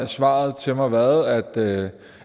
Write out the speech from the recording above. svaret til mig været at det